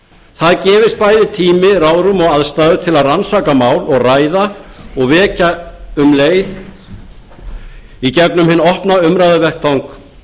það gefist bæði tími ráðrúm og aðstæður til að rannsaka mál og ræða og vekja um leið í gegnum hinn opna umræðuvettvang